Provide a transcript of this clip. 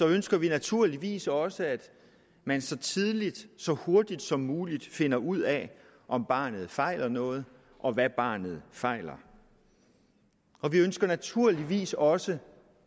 ønsker vi naturligvis også at man så tidligt så hurtigt som muligt finder ud af om barnet fejler noget og hvad barnet fejler og vi ønsker naturligvis også